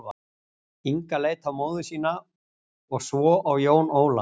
Inga leit á móður sína og svo á Jón Ólaf.